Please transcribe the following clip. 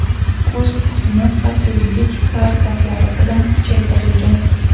Kuzov qismi xavfsizlik karkaslari bilan kuchaytirilgan.